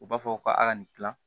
U b'a fɔ ko a ka nin kilan